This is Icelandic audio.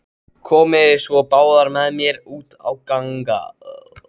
Komiði svo báðar með mér út að ganga.